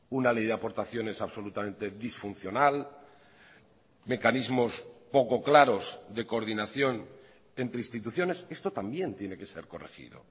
una ley de aportaciones absolutamente disfuncional mecanismos poco claros de coordinación entre instituciones esto también tiene que ser corregido